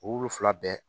O olu fila bɛɛ